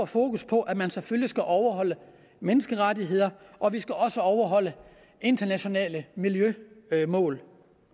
fokus på at man selvfølgelig skal overholde menneskerettigheder og vi skal også overholde internationale miljømål